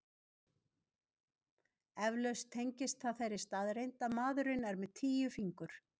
Eflaust tengist það þeirri staðreynd að maðurinn er með tíu fingur.